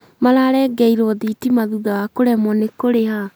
mararengeirwo thitima thutha wa kũremwo nĩ kũrĩha